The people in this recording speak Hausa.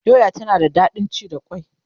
doya tana da daɗin ci da kwai